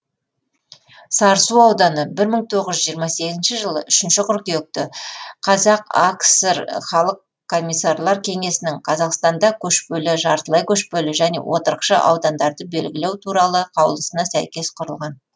сарысу ауданы бір мың тоғыз жүз жиырма сегізінші жылы үшінші қыркүйекте қазақ акср халық комиссарлар кеңесінің қазақстанда көшпелі жартылай көшпелі және отырықшы аудандарды белгілеу туралы қаулысына сәйкес құрылған